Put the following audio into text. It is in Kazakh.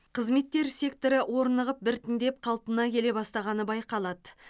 қызметтер секторы орнығып біртіндеп қалпына келе бастағаны байқалады